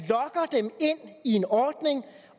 i en ordning